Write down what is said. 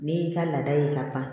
N'i y'i ka laada ye ka ban